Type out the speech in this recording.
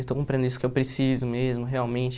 Eu estou comprando isso que eu preciso mesmo, realmente.